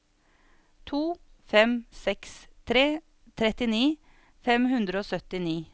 to fem seks tre trettini fem hundre og syttini